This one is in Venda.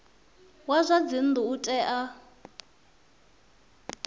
wa zwa dzinnu u tea